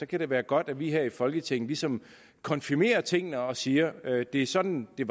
kan det være godt at vi her i folketinget ligesom konfirmerer tingene og siger at det er sådan det